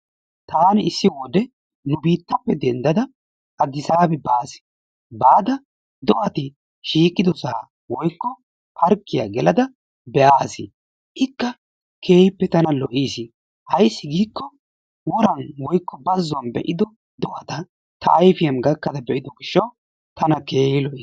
Taani issi wode nu biittappe denddada Addisaabbi baasi baada do'ati shiiqidoosa woykoo parkkiyaa gelada be'aasi. Ikka keehippe tana lo"issi ayssi giiko woray woykko bayzzuwan be'ido do'ata ta ayfiyaan gakkafa be'ido gishshaw tana keehi lo"i.